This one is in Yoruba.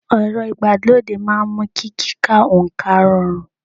Ẹ̀rọ ìgbàlódé máa ń mú kí kíka oǹkà rọrùn